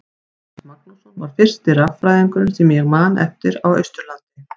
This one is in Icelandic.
Jónas Magnússon var fyrsti raffræðingurinn sem ég man eftir á Austurlandi.